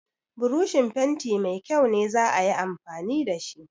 Broshin fenti mai kyau ne za a yi amfani da shi.